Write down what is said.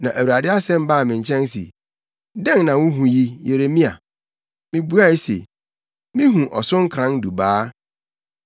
Na Awurade asɛm baa me nkyɛn se, “Dɛn na wuhu yi, Yeremia?” Na mibuae se, “Mihu ɔsonkoran dubaa.”